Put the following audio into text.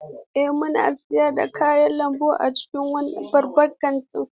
Ee, muna sayar da kayan lambu a cikin wannan babban kantin.